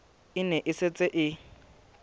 e ne e setse e